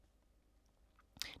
DR2